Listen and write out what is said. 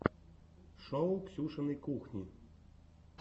шоу ксюшиной кухни